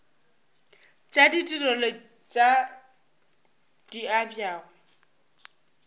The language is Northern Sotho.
tša ditirelo tše di abjago